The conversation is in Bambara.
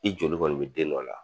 I joli kɔni mi den dɔ la